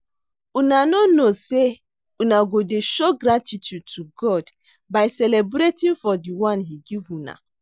Una no know say una go dey show gratitude to God by celebrating for the one he give una